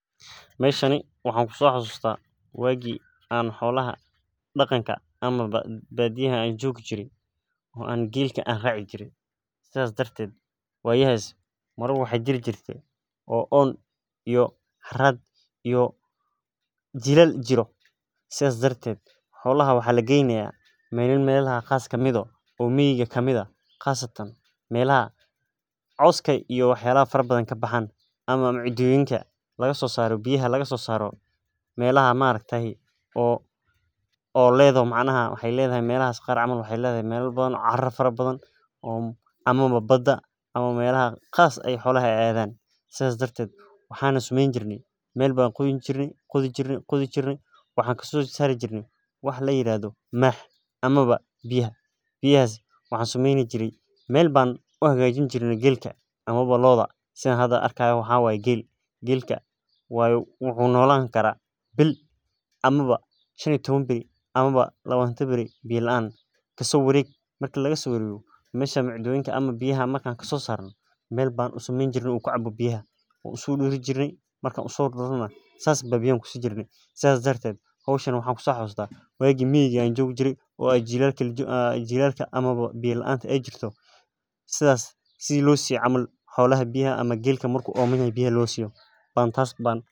Meeshani waxaan ku masoo xasusta waagi aan badiyaha joogi jire oo aan geela raaci jire waxaa jira waqtiya oo jilaal jire xolaha waxaa lageynaya meela biya leh oo aad iyo aad abaar u ah waxa lageyna meel fudud meel ayaa laqodayaa oo biya laga keenaya geela waqti deer ayuu noolan karaa biya laan sidaas darteed waqtiyaha jilaalka ayaan kusio xasuusta.